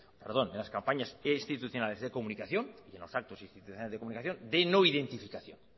de comunicación los actos institucionales de comunicación de no identificación